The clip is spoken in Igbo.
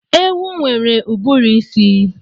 Ewu nwere uburuisi